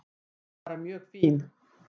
Bara mjög fín.